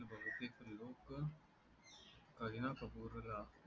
करीना कपूर ला